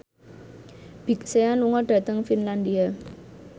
Big Sean lunga dhateng Finlandia